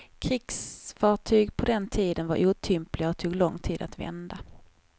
Krigsfartyg på den tiden var otympliga och tog lång tid att vända.